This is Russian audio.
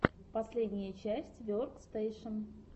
последняя часть веркстэйшен